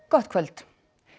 gott kvöld